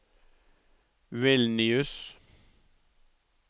Vilnius